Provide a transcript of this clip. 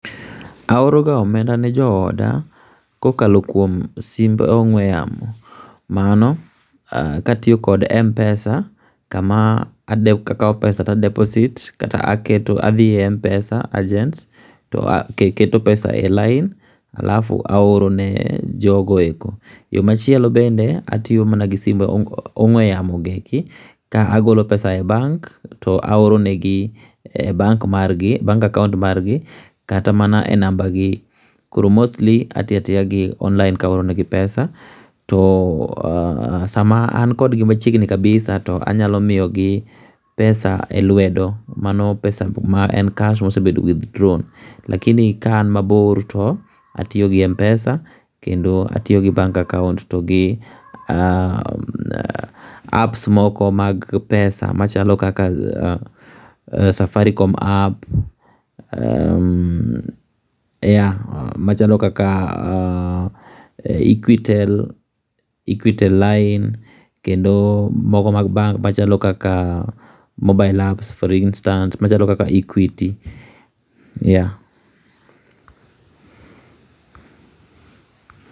Aoroga omenda ne jooda kokalo kuom simb ong'we yamo. Mano katiyo kod mpesa, kama akawo pesa ta deposit kata adhi e mpesa agent taketo pesa e lain alafu aorone jogo eko. Yo machielo bende, atiyo mna gi simb ong'we yamo gi eki ka agolo pesa e bank, to aoronegi e bank akaont margi kata mana e nambagi. Koro mostly atiyoatiya gi online kaoronegi pesa, to sama an kodgi machiegni kabisa, to anyalo miyogi pesa e lwedo mano pesa ma en kash mosebedo withdrawn. Lakini ka an mabor to atiyo gi mpesa, kendo atiyo gi bank akaont to gi apps moko mag pesa machalo kaka safaricom app yea, machalo kaka equitel line kendo moko mag bank machalo kaka mobile apps for instance machalo kaka equity, yea.